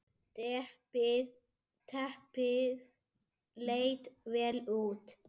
Teppið leit vel út.